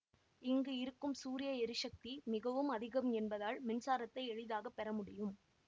இங்கு இருக்கும் சூரிய எரிசக்தி மிகவும் அதிகம் என்பதால் மின்சாரத்தை எளிதாக பெற முடியும்